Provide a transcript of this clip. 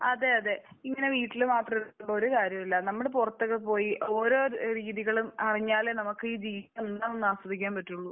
അതെ. അതെ. ഇങ്ങനെ വീട്ടിൽ മാത്രം ഇരുന്നിട്ട് ഒരു കാര്യവുമില്ല. നമ്മൾ പുറത്തൊക്കെ പോയി ഓരോ രീതികളും അറിഞ്ഞാലേ നമുക്ക് ജീവിതം ആസ്വദിക്കാൻ പറ്റുകയുള്ളു.